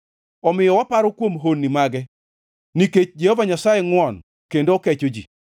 Omiyo waparo kuom honni mage; nikech Jehova Nyasaye ngʼwon kendo okecho ji.